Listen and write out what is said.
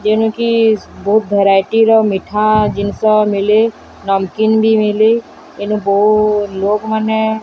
ଯେଣୁ କିସ୍ ବୋହୁତ୍ ଭେରାଇଟି ର ମିଠା ଜିନଷ ମିଲେ ନମକିନ୍ ବି ମିଲେ ଏନୁ ବୋହୁ ଲୋକମାନେ --